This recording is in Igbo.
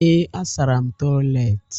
Ee, asara m toịletị.